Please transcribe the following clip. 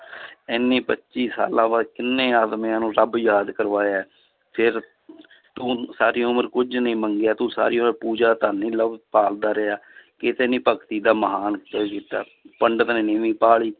ਇਹਨੇ ਪੱਚੀ ਸਾਲਾਂ ਬਾਅਦ ਕਿੰਨੇ ਆਦਮੀਆਂ ਨੂੰ ਰੱਬ ਯਾਦ ਕਰਵਾਇਆ ਹੈ ਫਿਰ ਤੂੰ ਸਾਰੀ ਉਮਰ ਕੁੱਝ ਨਹੀਂ ਮੰਗਿਆ, ਤੂੰ ਸਾਰੀ ਉਮਰ ਪੂਜਾ ਧਨ ਭਾਲਦਾ ਰਿਹਾ ਕਿਤੇ ਨੀ ਭਗਤੀ ਦਾ ਮਹਾਨ ਕੀਤਾ, ਪੰਡਿਤ ਨੇ ਨੀਵੀਂ ਪਾ ਲਈ